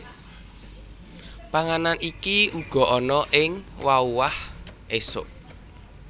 Panganan iki uga ana ing wauah esuk